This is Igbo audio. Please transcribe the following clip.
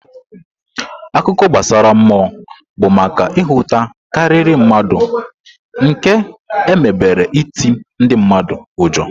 Akụkọ gbasara mmụọ bụ maka nhụta karịrị mmadụ nke emebere iti ndị mmadụ ụjọ.